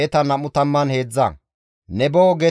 Sana7a dere asatappe 3,930.